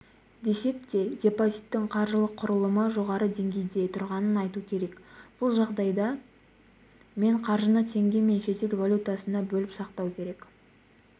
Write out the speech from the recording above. десек те депозиттің қаржылық құрылымы жоғары деңгейде тұрғанын айту керек бұл жағдайда мен қаржыны теңге мен шетел валютасына бөліп сақтау керек